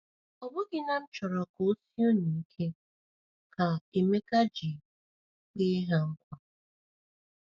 “ ‘Ọ bụghị na m chọrọ ka ọ sie unu ike,’ ka Emeka ji kpee ha nkwa.”